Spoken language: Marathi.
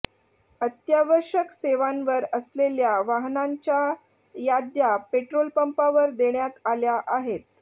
अत्यावश्यक सेवांवर असलेल्या वाहनांच्या याद्या पेट्रोलपंपावर देण्यात आल्या आहेत